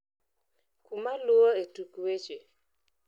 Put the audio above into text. kuma luo e tuk weche